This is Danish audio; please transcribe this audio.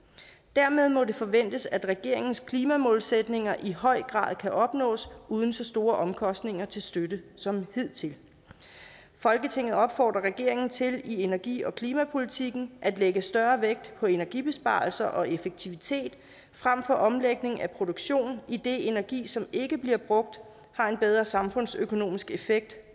dermed må det forventes at regeringens klimamålsætninger i høj grad kan opnås uden så store omkostninger til støtte som hidtil folketinget opfordrer regeringen til i energi og klimapolitikken at lægge større vægt på energibesparelser og effektivitet frem for omlægning af produktionen idet energi som ikke bliver brugt har en bedre samfundsøkonomisk effekt